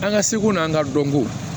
An ka seko n'an ka dɔnko